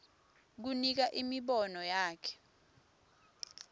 kunika imibono yakhe